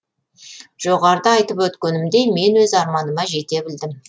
жоғарыда айтып өткенімдей мен өз арманыма жете білдім